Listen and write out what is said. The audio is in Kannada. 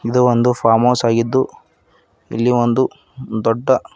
ಇದು ಒಂದು ಫಾರ್ಮಹೌಸ್ ಆಗಿದ್ದು ಇಲ್ಲಿ ಒಂದು ದೊಡ್ಡ--